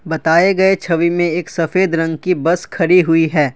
बताए गए छवि में एक सफेद रंग की बस खड़ी हुई है।